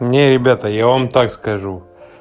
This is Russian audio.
не ребята я вам так скажу